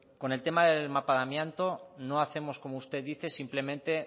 con el tema del mapa amianto no hacemos como usted dice simplemente